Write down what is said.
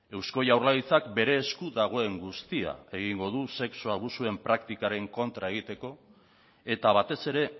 eusko jaurlaritzak bere esku dagoen guztia egingo du sexu abusuen praktikaren kontra egiteko eta batez ere